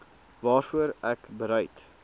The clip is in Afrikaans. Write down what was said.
waarvoor ek bereid